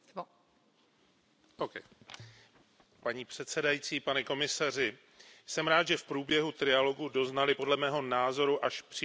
Paní předsedající, pane komisaři, jsem rád, že v průběhu trialogu doznaly podle mého názoru až příliš ambiciózní cíle značných změn.